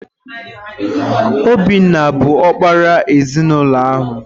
Obinna bụ ọkpara ezinụlọ ahụ.